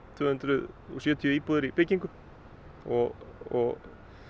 tvö hundruð og sjötíu íbúðir í byggingu og